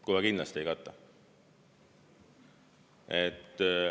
Kohe kindlasti ei kata!